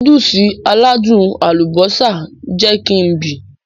Núdùùsì aládùn àlùbósà jẹ kí n bì.